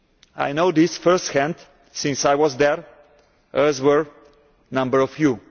I know this first hand, since I was there, as were a number of you.